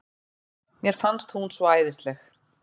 Mér fannst hún svo æðisleg.